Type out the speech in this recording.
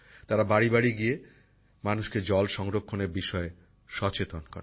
তারা বাড়ীবাড়ী গিয়ে মানুষকে জল সংরক্ষণের বিষয়ে সচেতন করে